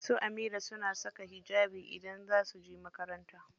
Su Amira suna saka hijabi idan za su je makaranta.